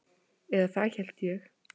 Eða það hélt ég.